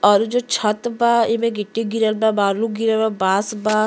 और इ जो छत बा एमे गिट्टी गिरल बा बालू गिरल बा बांस बा।